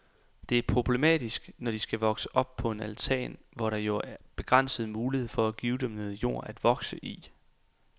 Det er problematisk, når de skal vokse på en altan, hvor der jo er begrænsede muligheder for at give dem meget jord at vokse i.